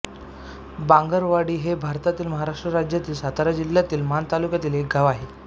बांगरवाडी हे भारतातील महाराष्ट्र राज्यातील सातारा जिल्ह्यातील माण तालुक्यातील एक गाव आहे